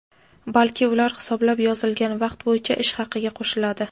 balki ular hisoblab yozilgan vaqt bo‘yicha ish haqiga qo‘shiladi.